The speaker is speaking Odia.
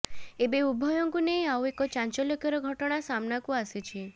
ଏବେ ଉଭୟଙ୍କୁ ନେଇ ଆଉ ଏକ ଚାଂଚଲ୍ୟକର ଘଟଣା ସାମ୍ନାକୁ ଆସିଛି